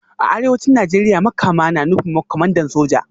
A Arewacin Najeriya Makama na nufin Kwamandan Soja